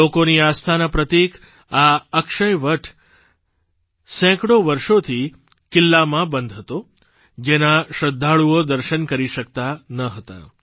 લોકોની આસ્થાના પ્રતીક આ અક્ષયવડ સેંકડો વર્ષોથી કિલ્લામાં બંધ હતો જેના શ્રદ્ધાળુઓ દર્શન કરી શકતા ન હતા